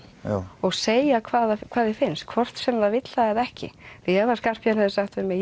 og segja hvað hvað því finnst hvort sem það vill það eða ekki því ef Skarphéðinn hefði sagt við mig